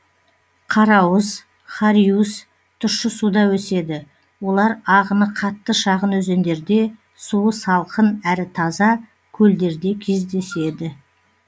қарауыз хариус тұщы суда өседі олар ағыны қатты шағын өзендерде суы салқын әрі таза көлдерде кездеседі